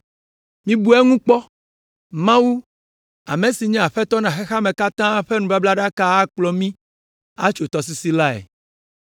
Mibu eŋu kpɔ! Mawu, ame si nye Aƒetɔ na xexea me katã la ƒe nubablaɖaka akplɔ mí atso tɔsisi lae!